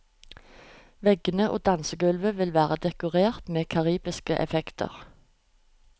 Veggene og dansegulvet vil være dekorert med karibiske effekter.